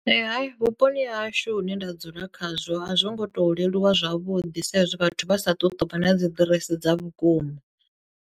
Ee hai vhuponi ha hashu hune nda dzula khazwo a zwo ngo to leluwa zwavhuḓi sa izwi vhathu vha sa tu tovha na dzi ḓiresi dza vhukuma.